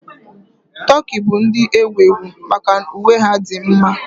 Tokii bụ ndị ewu ewu maka uwe ha dị mma.